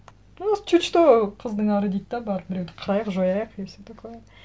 у нас чуть что қыздың ары дейді де барып біреуді қырайық жояйық и все такое